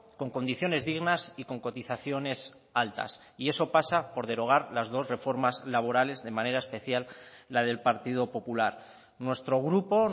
con condiciones dignas y con cotizaciones altas y eso pasa por derogar las dos reformas laborales de manera especial la del partido popular nuestro grupo